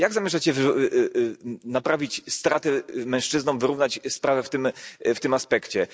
Jak zamierzacie naprawić straty mężczyznom, wyrównać sprawę w tym aspekcie?